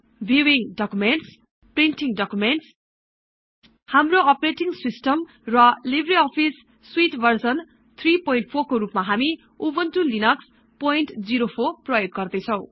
viewing documents कप्रिन्टिङ्ग documents हाम्रो operating system र लिब्रअफिस् स्युट् भर्जन् ३४ को रुपमा हामी उबुन्टु लिनक्स ०४ प्रयोग गर्दैछौँ